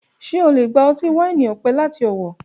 Ṣe o le gba ọti-waini ọpẹ lati Owo